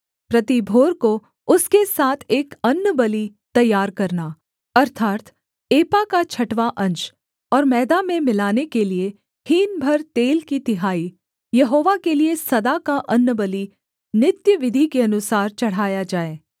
प्रति भोर को उसके साथ एक अन्नबलि तैयार करना अर्थात् एपा का छठवाँ अंश और मैदा में मिलाने के लिये हीन भर तेल की तिहाई यहोवा के लिये सदा का अन्नबलि नित्य विधि के अनुसार चढ़ाया जाए